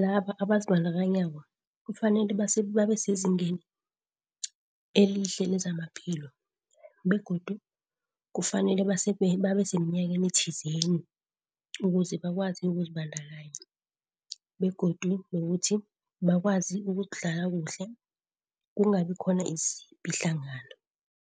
laba abazibandakanyako kufanele babesezingeni elihle lezamaphilo, begodu kufanele babeseminyakeni thizeni ukuze bakwazi ukuzibandakanya, begodu nokuthi bakwazi ukudlala kuhle kungabi khona izipi hlangana.